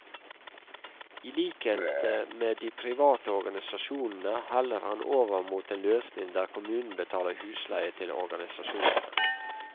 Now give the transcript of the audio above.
I likhet med de private organisasjonene heller han over mot en løsning der kommunen betaler husleie til organisasjonene.